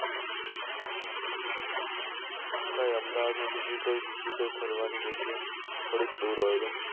કોઈ અમદાવાદ બીજું કોઈ બીજું કોઈ ફરવાની જગ્યા થોડુક દુર હોય તો